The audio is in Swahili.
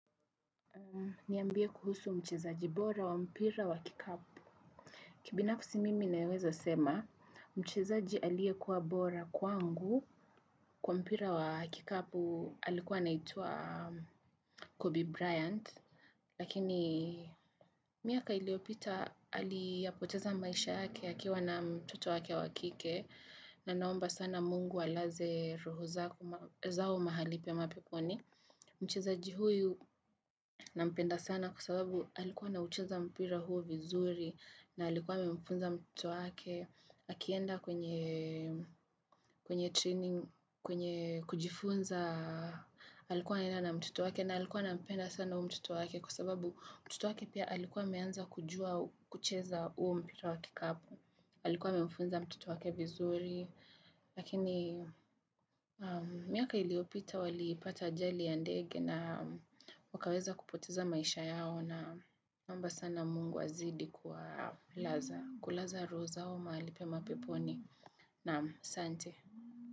Niambie kuhusu mchezaji bora wa mpira wa kikapu. Kibinafsi mimi naweza sema mchezaji aliyekuwa bora kwangu kwa mpira wa kikapu alikuwa anaitwa Kobe Bryant lakini miaka iliyopita aliyapoteza maisha yake akiwa na mtoto wake wa kike na naomba sana mungu alaze roho zao mahali pema peponi. Mchezaji huyu nampenda sana kwa sababu alikuwa anaucheza mpira huo vizuri na alikuwa amemfunza mtoto wake Akienda kwenye training, kwenye kujifunza alikuwa anaenda na mtoto wake na alikuwa anampenda sana huyo mtoto wake Kwa sababu mtoto wake pia alikuwa ameanza kujua kucheza huo mpira wa kikapu alikuwa amemfunza mtoto wake vizuri, lakini miaka iliyopita walipata ajali ya ndege na wakaweza kupoteza maisha yao na naomba sana mungu azidi kulaza roho zao mahali pema peponi. Naam qsante.